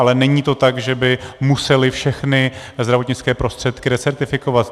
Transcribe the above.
Ale není to tak, že by museli všechny zdravotnické prostředky recertifikovat.